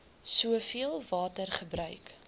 soveel water gebruik